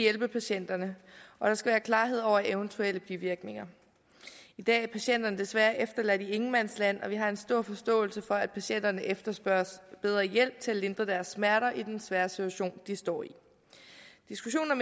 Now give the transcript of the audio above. hjælpe patienterne og der skal være klarhed over eventuelle bivirkninger i dag er patienterne desværre efterladt i ingenmandsland og vi har en stor forståelse for at patienterne efterspørger bedre hjælp til at lindre deres smerter i den svære situation de står i diskussionen